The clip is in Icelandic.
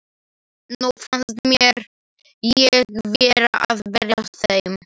Nú fannst mér ég vera að bregðast þeim.